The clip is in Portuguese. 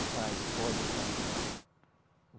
O vai, o foge, o vai buscar.